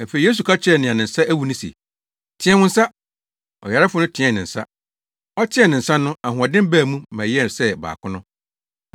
Afei Yesu ka kyerɛɛ nea ne nsa awu no se, “Teɛ wo nsa!” Ɔyarefo no teɛɛ ne nsa. Ɔteɛɛ ne nsa no ahoɔden baa mu ma ɛyɛɛ sɛ baako no.